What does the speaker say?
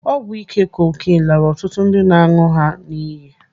Ọgwụ ike cocaine laara ọtụtụ ndị na-aṅụ ha n'iyi.